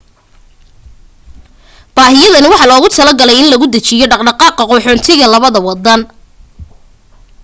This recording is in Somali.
baahiyahani waxaa loogu tala galay in lagu dajiyo dhaqdhaqaaqa qaxoontiga labada wadan